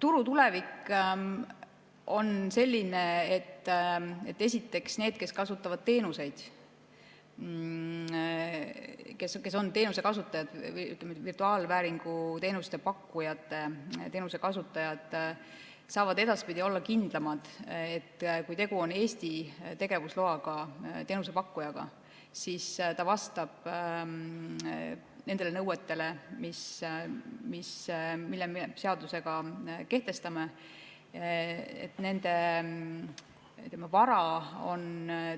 Turu tulevik on selline, et esiteks need, kes kasutavad teenuseid, kes on teenuse kasutajad, virtuaalvääringu teenuse pakkujate teenuse kasutajad, saavad edaspidi olla kindlamad, et kui tegu on Eesti tegevusloaga teenusepakkujaga, siis ta vastab nendele nõuetele, mille me seadusega kehtestame, nende vara on